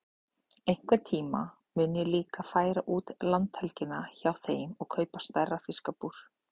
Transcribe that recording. Einhvern tíma mun ég líka færa út landhelgina hjá þeim og kaupa stærra fiskabúr.